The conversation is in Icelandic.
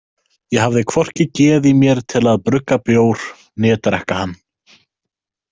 Ég hafði hvorki geð í mér til að brugga bjór né drekka hann.